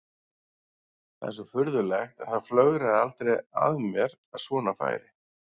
Það er svo furðulegt en það flögraði aldrei að mér að svona færi.